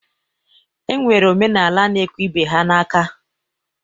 E nwere omenala na-ekwe ibe ha n'aka.